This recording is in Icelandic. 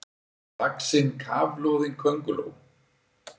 vaxin kafloðin könguló.